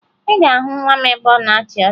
Ị ga-ahụ nwa m ebe ọ na-achị ọchị